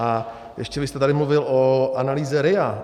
A ještě jste tady mluvil o analýze RIA.